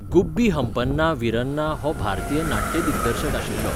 गुब्बी हंपन्ना विरन्ना हो भारतीय नाट्य दिग्दर्शक आशिल्लो.